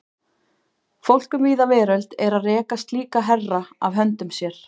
Fólk um víða veröld er að reka slíka herra af höndum sér.